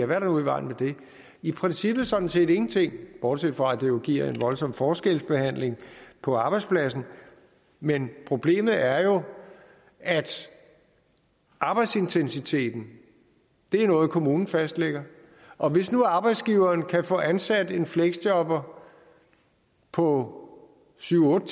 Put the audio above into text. der nu i vejen med det i princippet sådan set ingenting bortset fra at det jo giver en voldsom forskelsbehandling på arbejdspladsen men problemet er jo at arbejdsintensiteten er noget kommunen fastlægger og hvis nu arbejdsgiveren kan få ansat en fleksjobber på syv otte